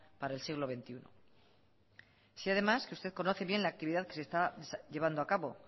para el siglo veintiuno sé además que usted conoce bien la actividad que se está llevando a cabo